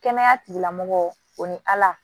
Kɛnɛya tigilamɔgɔ o ni ala